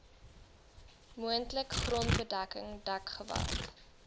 moontlik grondbedekking dekgewas